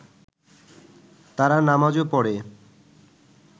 তারা নামাজও পড়ে